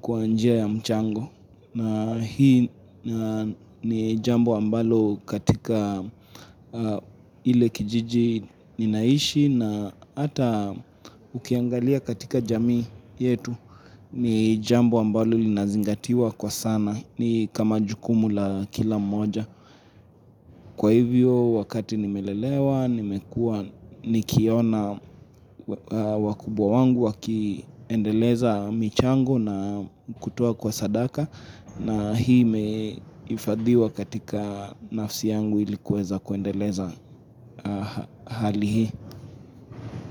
kwa njia ya mchango. Na hii ni jambo ambalo katika ile kijiji ninaishi na ata ukiangalia katika jamii yetu ni jambo ambalo linazingatiwa kwa sana ni kama jukumula kila mmoja. Kwa hivyo wakati nimelelewa, nimekuwa nikiona wakubwa wangu wakiendeleza michango na kutoa kwa sadaka na hii imeifadhiwa katika nafsi yangu ili kuweza kuendeleza hali hii.